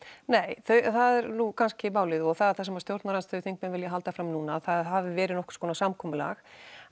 nei það er nú kannski málið og það er það sem stjórnarandstöðuþingmenn vilja halda fram núna það hafi verið einhvers konar samkomulag